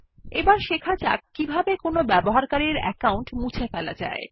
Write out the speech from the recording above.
এখন শেখা যাক কিভাবে কোনো ব্যবহারকারীর অ্যাকাউন্ট মুছে ফেলা যায়